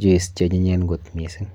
juice cheanyinyen kot mising.